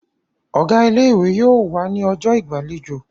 Ọ̀gá ilé-ìwé yóò wà ní ọjọ́ ìgbàlejò.